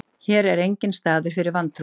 Hér er enginn staður fyrir vantrúaða.